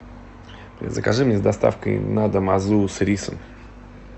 закажи мне с доставкой на дом азу с рисом